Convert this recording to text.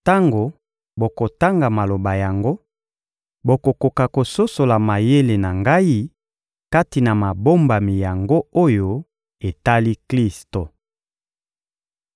Tango bokotanga maloba yango, bokokoka kososola mayele na ngai kati na mabombami yango oyo etali Klisto.